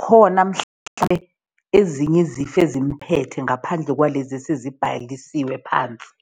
khona mhlampe ezinye izifo ezimuphethe ngaphandle kwalezi esezibhalisiwe phansi.